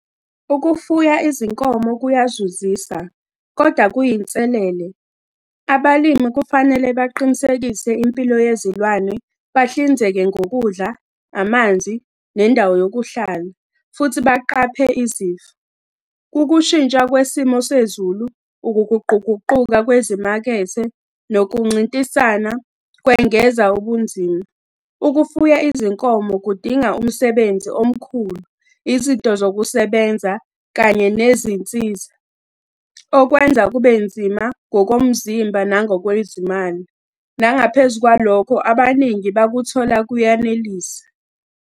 Ukufuya izinkomo kuyazuzisa, kodwa kuyinselele. Abalimi kufanele baqinisekise impilo yezilwane, bahlinzeke ngokudla, amanzi, nendawo yokuhlala, futhi baqaphe izifo. Ukushintsha kwesimo sezulu, ukuguquguquka kwezimakethe, nokuncintisana, kwengeza ubunzima. Ukufuya izinkomo kudinga umsebenzi omkhulu, izinto zokusebenza, kanye nezinsiza, okwenza kube nzima ngokomzimba, nangokwezimali. Nangaphezu kwalokho abaningi bakuthola kuyanelisa.